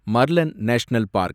மர்லென் national park